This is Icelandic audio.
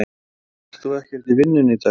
Helga: Ert þú ekkert í vinnu í dag?